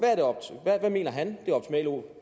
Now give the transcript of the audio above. hvad mener han